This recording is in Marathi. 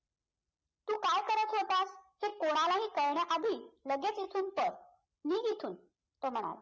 तू काय करत होतास हे कोणाला हि कळण्या आधी लगेच इथून पळ निघ इथून तो म्हणाला